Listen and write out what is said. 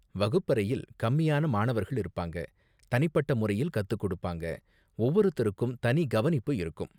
வகுப்பறையில் கம்மியான மாணவர்கள் இருப்பாங்க, தனிப்பட்ட முறையில் கத்துக்கொடுப்பாங்க, ஒவ்வொருத்தருக்கும் தனி கவனிப்பு இருக்கும்.